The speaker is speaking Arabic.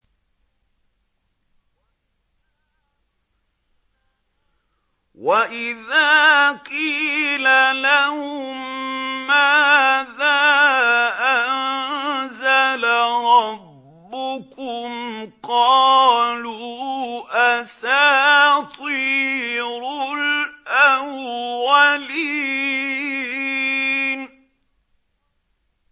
وَإِذَا قِيلَ لَهُم مَّاذَا أَنزَلَ رَبُّكُمْ ۙ قَالُوا أَسَاطِيرُ الْأَوَّلِينَ